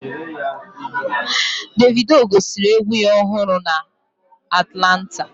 Davido gosiri egwu ya ọhụrụ a na Atlanta